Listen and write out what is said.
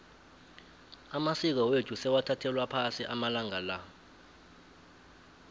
amasiko wethu sewathathelwa phasi amalanga la